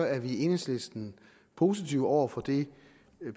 er vi i enhedslisten positive over for det